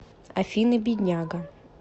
афина бедняга